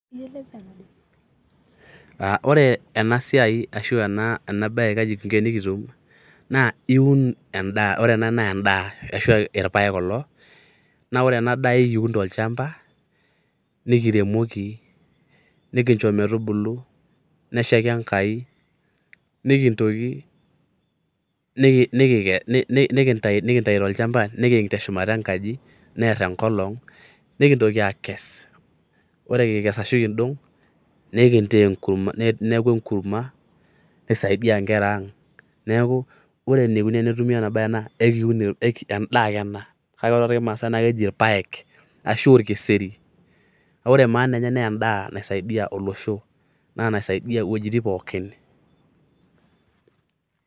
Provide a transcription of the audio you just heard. Ore ena siai arashu ena bae kaji kingo tenikitum naa iun endaa ore ena naa endaa arashu ilpaek kuloa ore ena daa na ekiun tolchamba nikiremoki nikicho metubulu neshaiki enkai nikintoki nikikes nikitayu tolchamba nikiik teshumata ekanji niar enkolong nikintoki aakes ore kikes Ashu kidong niaku enkurma nisaidia inkera aang neeku ore enaikoni tenetumi ena bae naa endaa ake ena kake ore toolmaasae naa keji ilpaek Ashu olkeseri kake ore maana enye naa endaa naisaidia olosho naa naisaidia iwuejitin pooki.